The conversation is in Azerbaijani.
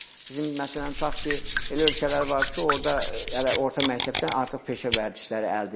Bizim məsələn, tutaq ki, elə ölkələr vardır ki, orada hələ orta məktəbdən artıq peşə vərdişləri əldə edirlər.